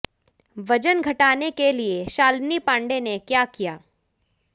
वजन घटाने के लिए शालिनी पांडे ने क्या किया